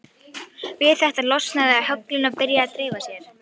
Við þetta losna höglin og byrja að dreifa sér.